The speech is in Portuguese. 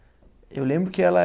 Eu lembro que ela